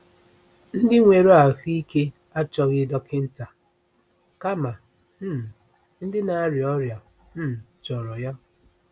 “Ndị nwere ahụ ike achọghị dọkịnta, kama um ndị na-arịa ọrịa um chọrọ ya.”